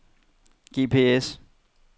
GPS